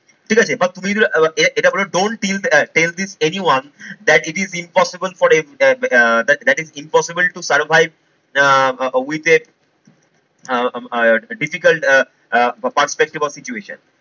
ঠিক আছে? এবার তুমি যদি এটা বলো don't till sell this anyone that it is impossible for that is impossible to survive uh with a uh difficult uh perspective of situation